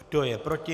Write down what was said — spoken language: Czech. Kdo je proti?